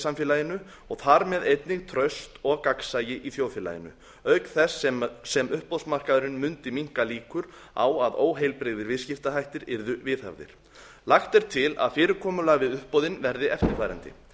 samfélaginu og þar með einnig traust og gagnsæi í þjóðfélaginu auk þess sem uppboðsmarkaðurinn mundi minnka líkur á að óheilbrigðir viðskiptahættir yrðu viðhafðir lagt er til að fyrirkomulag við uppboðin verði eftirfarandi